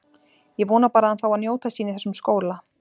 Ég vona bara að hann fái að njóta sín í þessum skóla.